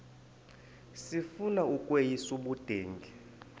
sifuna ukweyis ubudenge